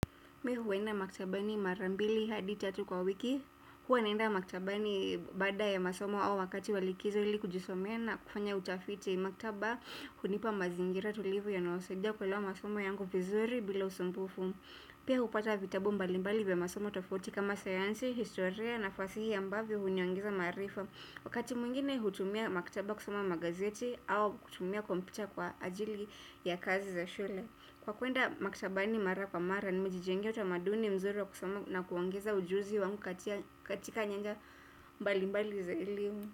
Me huenda maktabani mara mbili hadi tatu kwa wiki. Huwa naenda maktabani baada ya masomo au wakati wa likizo ili kujisomea na kufanya utafiti. Maktaba hunipa mazingira tulivu yanayosaidia kuelewa masomo yangu vizuri bila usumbufu. Pia hupata vitabu mbalimbali vya masomo utafuti kama sayansi, historia na fasihi ambavyo huniongeza maarifa. Wakati mwingine hutumia maktaba kusoma magazeti au hutumia kompyuta kwa ajili ya kazi za shule. Kwa kwenda maktabani mara kwa mara nimejijengea utamaduni mzuri na kuongeza ujuzi wangu katika nyanja mbali mbali za elimu.